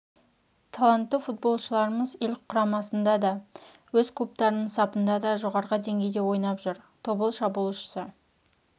талантты футболшыларымыз ел құрамасында да өз клубтарының сапында да жоғары деңгейде ойнап жүр тобыл шабуылшысы